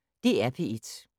DR P1